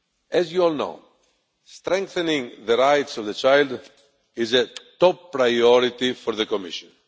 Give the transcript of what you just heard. As you all know, strengthening the rights of the child is a top priority for the Commission.